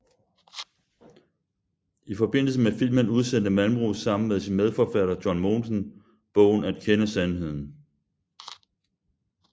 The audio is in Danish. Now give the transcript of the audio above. I forbindelse med filmen udsendte Malmros sammen med sin medforfatter John Mogensen bogen At kende Sandheden